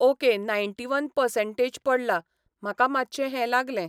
Okay ninety one percentage पडला, म्हाका मातशें हें लागलें.